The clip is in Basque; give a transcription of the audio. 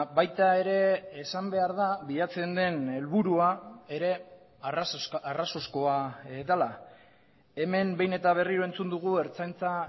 baita ere esan behar da bilatzen den helburua ere arrazoizkoa dela hemen behin eta berriro entzun dugu ertzaintza